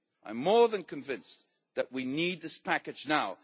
I am more than convinced that we need this package now.